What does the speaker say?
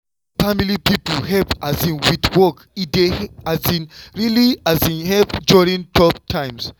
wen family people help um with work e dey really um help during tough times.